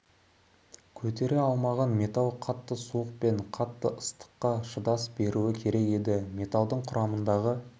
көтере алмаған алайда металл қатты суық пен қатты ыстыққа шыдас беруі керек еді металдың құрамындағы